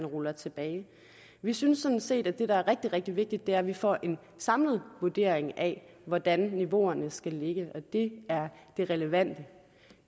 rulle tilbage vi synes sådan set at det der er rigtig rigtig vigtigt er at vi får en samlet vurdering af hvordan niveauerne skal ligge og det er det relevante